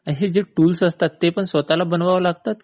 असे जे टूल्स असतात ते पण स्वतः बनवावे लागतात?